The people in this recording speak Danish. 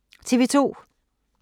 TV 2